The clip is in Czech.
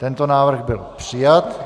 Tento návrh byl přijat.